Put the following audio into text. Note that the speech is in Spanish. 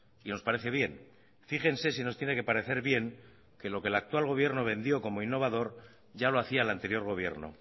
y nos parece bien fíjense si nos tiene que parecer bien que lo que el actual gobierno vendió como innovador ya lo hacía el anterior gobierno